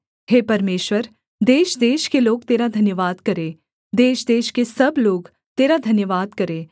हे परमेश्वर देशदेश के लोग तेरा धन्यवाद करें देशदेश के सब लोग तेरा धन्यवाद करें